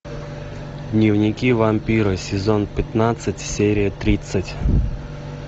дневники вампира сезон пятнадцать серия тридцать